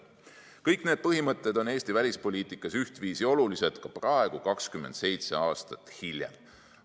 " Kõik need põhimõtted on Eesti välispoliitikas ühtviisi olulised ka praegu, 27 aastat hiljem.